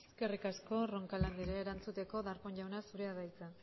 eskerrik asko roncal andrea erantzuteko darpón jauna zurea da hitza